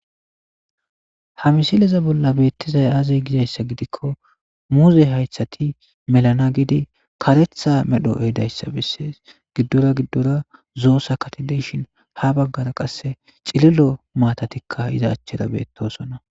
Ha missileza bolan betizay aze gizaysa gidiko muze haytati melana gidi karetha medho ehidaysa beses gidora zo'o sakati de'ishin ha bagara qase c'ililo matatika iza achara betosona.